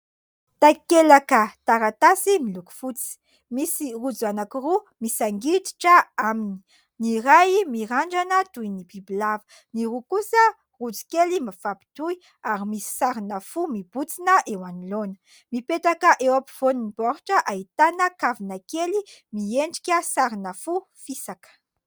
Takelaka taratasy miloko fotsy , misy rojo anankiroa misangiditra aminy, ny iray mirandrana toy ny bibilava, ny roa kosa rojo kely mifapitohy ary misy sarina fo mibontsina eo anoloana , mipetaka eo ampovoan'ny baoritra ahitana kavina kely miendrika sarina fo fisaka.